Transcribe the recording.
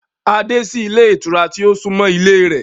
A dé sí ilé ìtura tí ó súnmọ́ ilé e rẹ̀